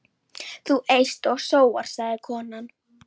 Þú eyst og sóar, sagði konan.